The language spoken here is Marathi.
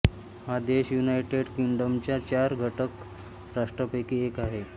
हा देश युनायटेड किंग्डमच्या चार घटक राष्ट्रांपैकी एक आहे